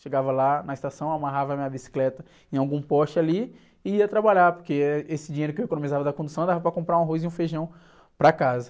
Chegava lá na estação, amarrava a minha bicicleta em algum poste ali e ia trabalhar, porque, eh, esse dinheiro que eu economizava da condução, dava para comprar um arroz e um feijão para casa.